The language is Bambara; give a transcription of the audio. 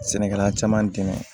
Sɛnɛkɛla caman dɛmɛ